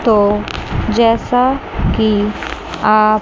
तो जैसा कि आप--